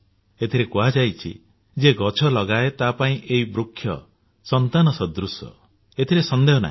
ଏଥିରେ କୁହାଯାଇଛି ଯିଏ ଗଛ ଲଗାଏ ତାହା ପାଇଁ ଏହି ବୃକ୍ଷ ସନ୍ତାନ ସଦୃଶ ଏଥିରେ ସନ୍ଦେହ ନାହିଁ